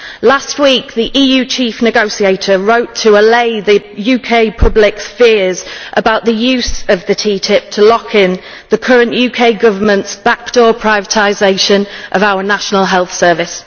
Last week the EU chief negotiator wrote to allay the UK public's fear about the use of TTIP to lock in the current UK Government's back door privatisation of our National Health Service.